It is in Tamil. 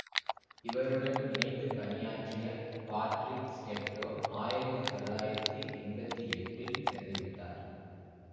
இவருடன் இணைந்து பணியாற்றிய பாட்றிக் ஸ்டெப்டோ ஆயிரத்தி தொள்ளாயிரத்தி எம்பத்தி எட்டில் இறந்து விட்டார்